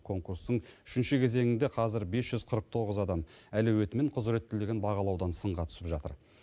конкурстың үшінші кезеңінде қазір бес жүз қырық тоғыз адам әлеуеті мен құзіреттілігін бағалаудан сынға түсіп жатыр